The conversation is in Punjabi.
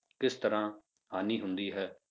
ਕਿਸ ਤਰ੍ਹਾਂ ਹਾਨੀ ਹੁੰਦੀ ਹੈ?